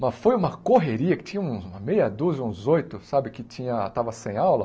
Mas foi uma correria que tinha uma meia dúzia, uns oito, sabe, que tinha... estavam sem aula,